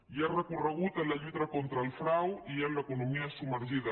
hi ha recorregut en la lluita contra el frau i en l’economia submergida